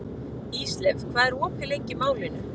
Ísleif, hvað er opið lengi í Málinu?